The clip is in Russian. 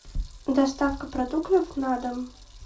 доставка продуктов на дом